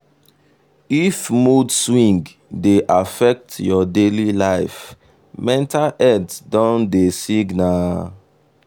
if mood swing dey affect your daily life mental health don dey signal.